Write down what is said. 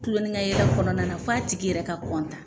Kuloninkayɛlɛ kɔnɔna na f'a tigi yɛrɛ ka